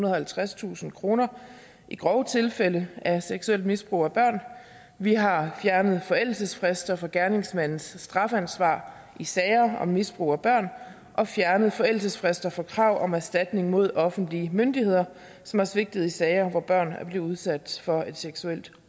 og halvtredstusind kroner i grove tilfælde af seksuelt misbrug af børn vi har fjernet forældelsesfrister for gerningsmandens strafansvar i sager om misbrug af børn og fjernet forældelsesfrister for krav om erstatning mod offentlige myndigheder som har svigtet i sager hvor børn er blevet udsat for et seksuelt